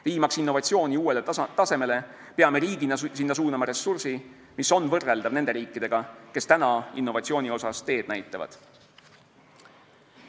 Viimaks innovatsiooni uuele tasemele, peame riigina sinna suunama ressursi, mis on võrreldav nende riikide ressursiga, kes täna innovatsiooni puhul teed näitavad.